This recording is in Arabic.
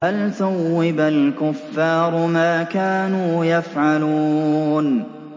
هَلْ ثُوِّبَ الْكُفَّارُ مَا كَانُوا يَفْعَلُونَ